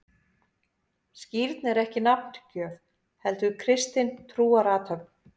Skírn er ekki nafngjöf, heldur kristin trúarathöfn.